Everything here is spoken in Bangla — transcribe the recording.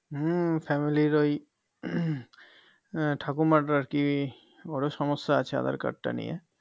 হম Family ওই উম ঠাকুমার আরকি বড়ো সমস্যা আছে আঁধারকার্ড টা নিয়ে